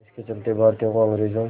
इसके चलते भारतीयों को अंग्रेज़ों